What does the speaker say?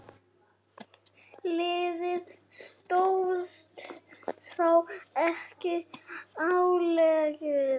Liðið stóðst þá ekki álagið.